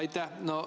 Aitäh!